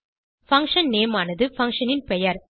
function name ஆனது function ன் பெயர்